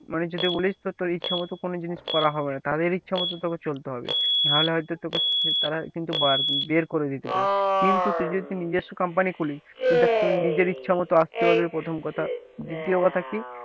মানে যদি বলিস তো তোর ইচ্ছা মত কোন জিনিস করা হবে না তাদের ইচ্ছা মতো তোকে চলতে হবে না হলে হয়তো তোকে তারা কিন্তু বার বের করে দিতে পারে, কিন্তু তুই যদি নিজস্ব company খুলিস তুই দেখ তোর নিজের ইচ্ছা মত আসতে পারবি প্রথম কথা দ্বিতীয় কথা কি,